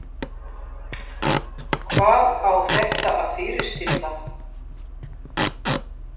Hvað á þetta að fyrirstilla?